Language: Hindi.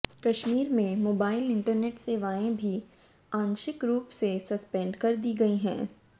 कश्मीर में मोबाइल इंटरनेट सेवाएं भी आंशिक रूप से सस्पेंड कर दी गई है